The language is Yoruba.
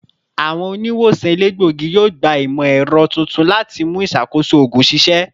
Awọn oniwosan elegbogi yoo gba imọ-ẹrọ tuntun lati mu iṣakoso oogun ṣiṣẹ